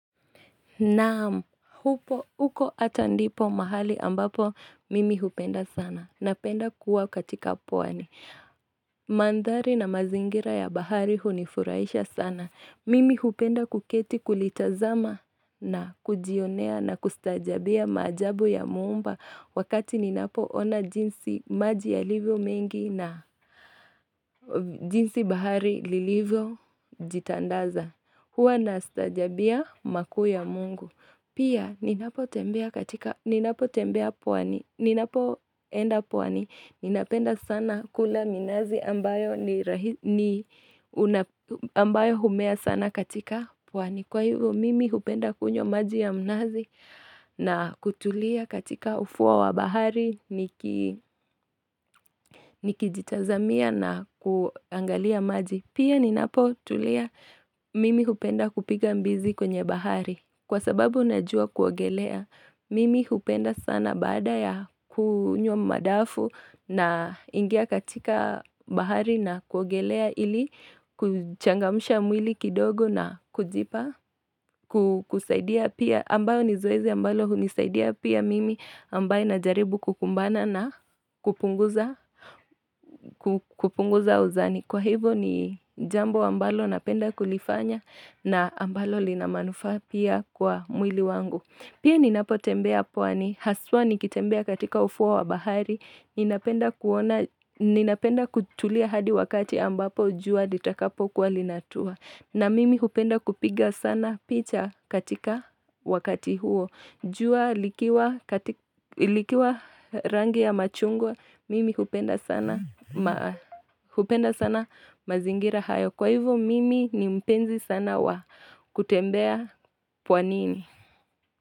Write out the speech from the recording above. Naam, huko hata ndipo mahali ambapo mimi hupenda sana. Napenda kuwa katika pwani. Mandhari na mazingira ya bahari hunifuraisha sana. Mimi hupenda kuketi kulitazama na kujionea na kustaajabia majabu ya muumba wakati ninapoona jinsi maji yalivyo mengi na jinsi bahari lilivyojitandaza. Huwa nastaajabia makuu ya mungu. Pia ninapotembea pwani. Ninapoenda pwani. Ninapenda sana kula minazi ambayo humea sana katika pwani. Kwa hivyo mimi hupenda kunywa maji ya mnazi na kutulia katika ufuwa wa bahari nikijitazamia na kuangalia maji. Pia ninapotulia mimi hupenda kupiga mbizi kwenye bahari. Kwa sababu najua kuogelea, mimi hupenda sana baada ya kunywa madafu naingia katika bahari na kuogelea ili kuchangamusha mwili kidogo na kujipa, kusaidia pia ambayo ni zoezi ambalo hunisaidia pia mimi ambayo najaribu kukumbana na kupunguza uzani. Kwa hivyo ni jambo ambalo napenda kulifanya na ambalo lina manufaa pia kwa mwili wangu. Pia ninapotembea pwani, haswa nikitembea katika ufuwa wa bahari, ninapenda kutulia hadi wakati ambapo jua litakapo kuwa linatua. Na mimi hupenda kupiga sana picha katika wakati huo. Jua likiwa rangi ya machungwa, mimi hupenda sana mazingira hayo. Kwa hivyo mimi ni mpenzi sana wa kutembea pwanini.